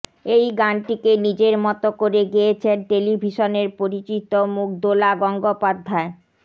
এই গানটিকে নিজের মত করে গেয়েছেন টেলিভিশনের পরিচিত মুখ দোলা গঙ্গোপাধ্যায়